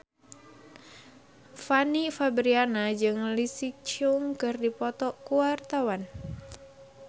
Fanny Fabriana jeung Leslie Cheung keur dipoto ku wartawan